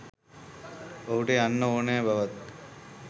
ඔහුට යන්න ඕනෙ බවත්